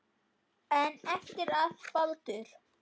En eftir að Baldur.